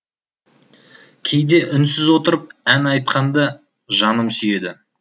кейде үнсіз отырып ән айтқанды жаным сүйеді